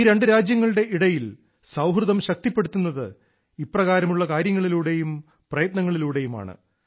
ഈ രണ്ടു രാജ്യങ്ങളുടെ ഇടയിൽ സൌഹൃദം ശക്തിപ്പെടുത്തുന്നത് ഇപ്രകാരമുള്ള കാര്യങ്ങളിലൂടെയും പ്രയത്നങ്ങളിലൂടെയുമാണ്